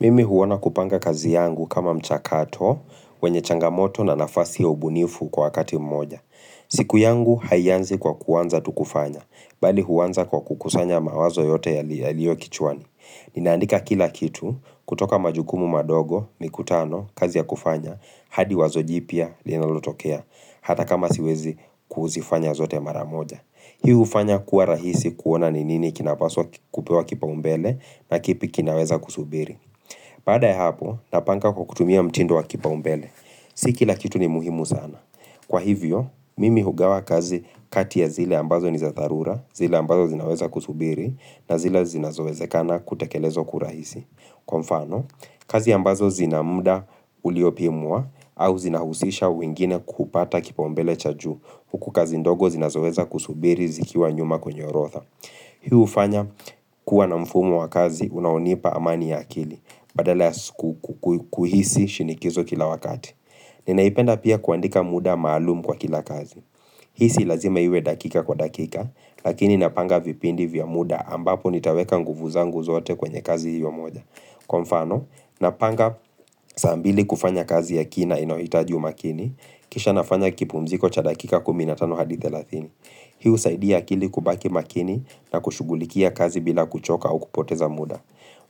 Mimi huona kupanga kazi yangu kama mchakato, wenye changamoto na nafasi ya ubunifu kwa kati mmoja. Siku yangu haianzi kwa kuanza tukufanya, bali huwanza kwa kukusanya mawazo yote ya liyo kichwani. Ninaandika kila kitu, kutoka majugumu madogo, mikutano, kazi ya kufanya, hadi wazo jipya, linalotokea, hata kama siwezi kuzifanya zote maramoja. Hii hufanya kuwa rahisi kuona ni nini kinapaswa kupewa kipaumbele na kipi kinaweza kusubiri. Baada ya hapo, napanga kwa kutumia mtindu wa kipaumbele. Si ki la kitu ni muhimu sana. Kwa hivyo, mimi hugawa kazi kati ya zile ambazo ni za tharura, zile ambazo zinaweza kusubiri, na zile zinazowezekana kutakelezwa kwa kurahisi. Kwa mfano, kazi ambazo zinamuda uliopimua, au zinahusisha wingine kupata kipaumbele cha ju. Huku kazi ndogo zinazoweza kusubiri zikiwa nyuma kwenye orotha. Hii ufanya kuwa na mfumu wa kazi, unaonipa amani ya akili. Badala ya kuhisi shinikizo kila wakati Ninaipenda pia kuandika muda maalumu kwa kila kazi Hii si lazima iwe dakika kwa dakika Lakini napanga vipindi vya muda ambapo nitaweka nguvu zangu zote kwenye kazi hiyo moja kwa mfano, napanga saa mbili kufanya kazi ya kina inoitaji umakini Kisha nafanya kipumziko cha dakika kumi na tano hadi thelathini Hii husaidia kili kubaki makini na kushugulikia kazi bila kuchoka au kupoteza muda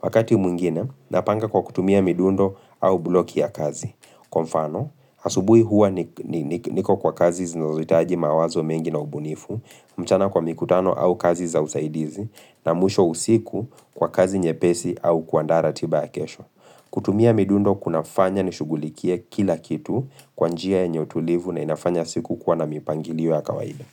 Wakati mwngine, napanga kwa kutumia midundo au bloki ya kazi. Kwa mfano, asubui huwa niko kwa kazi zinazotaji mawazo mengi na ubunifu, mchana kwa mikutano au kazi za usaidizi, na mwisho usiku kwa kazi nyepesi au kuandaa ratiba ya kesho. Kutumia midundo kunafanya nishugulikie kila kitu kwanjia yenye utulivu na inafanya siku kwa na mipangiliwa ya kawaida.